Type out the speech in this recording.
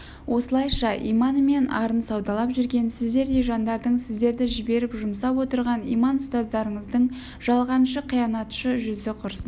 осылайша иманы мен арын саудалап жүрген сіздердей жандардың сіздерді жіберіп жұмсап отырған иман ұстаздарыңыздың жалғаншы қиянатшы жүзі құрсын